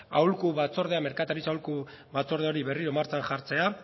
aholku batzordea merkataritza aholku batzorde hori berriro martxan jartzea